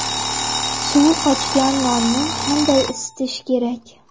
Suvi qochgan nonni qanday isitish kerak?